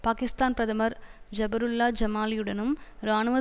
பாகிஸ்தான் பிரதமர் ஜபருல்லா ஜமாலியுடனும் இராணுவ